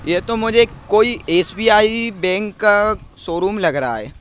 ये तो मुझे कोई एस_बी_आई बैंक का शोरूम लग रहा है ।